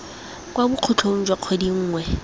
kwa bokhutlong jwa kgwedi nngwe